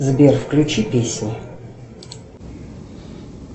сбер включи песни